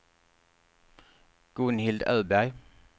Gunhild Öberg